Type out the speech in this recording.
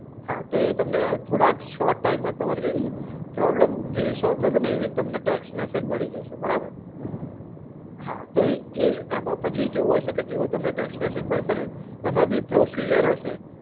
હા, તો એ તમને થોડા શોર્ટ ટાઈમમાં તમારું જે પ્રોબ્લેમ જેવી સોલ થશે ને એવી જ તમને ટેક્સ મેસેજ મળી જશે. બરાબર? હા, તો એ એમાં પછી એવી કેવું હશે કે જેવો તમને ટેક્સ મેસેજ પડશે ને એમાં બી પ્રોસિજર હશે.